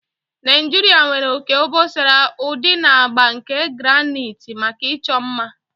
Naijiria nwere oke obosara, udi na agba nke granite maka ịchọ mma.